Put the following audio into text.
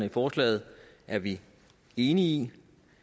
i forslaget er vi enige i